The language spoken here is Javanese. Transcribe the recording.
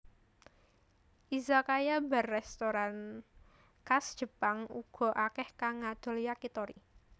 Izakaya bar restoran khas Jepang uga akèh kang ngadol Yakitori